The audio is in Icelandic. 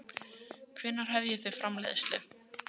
Björn Þorláksson: Hvenær hefjið þið framleiðslu?